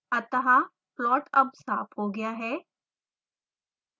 अतः प्लॉट अब साफ हो गया है